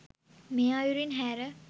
මේ අයුරින් හැර